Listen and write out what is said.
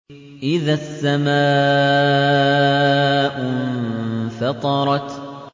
إِذَا السَّمَاءُ انفَطَرَتْ